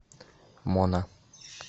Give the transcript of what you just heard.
мона